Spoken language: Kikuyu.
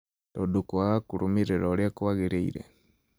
tondũ kwaga kũrũmĩrĩra ũrĩa kwagĩrĩire